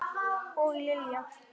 Og Lilja!